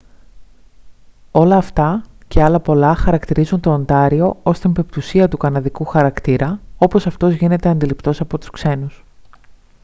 όλα αυτά και άλλα πολλά χαρακτηρίζουν το οντάριο ως την πεμπτουσία του καναδικού χαρακτήρα όπως αυτός γίνεται αντιληπτός από τους ξένους